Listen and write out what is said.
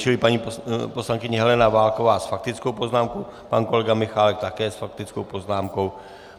Čili paní poslankyně Helena Válková s faktickou poznámkou, pan kolega Michálek také s faktickou poznámkou.